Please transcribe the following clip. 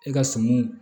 E ka suman